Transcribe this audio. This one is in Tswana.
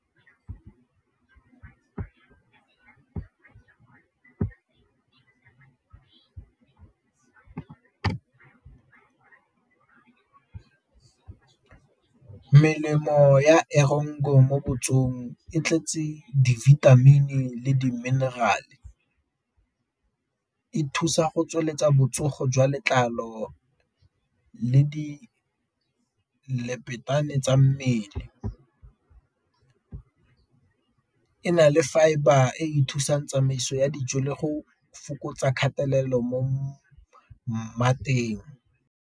Melemo ya mo botsogong e tletse di-vitamin le di-mineral-e, e thusa go tsweletsa botsogo jwa letlalo le di tsa mmele, e na le fibre e e thusang tsamaiso ya dijo le go fokotsa kgatelelo mo mateng.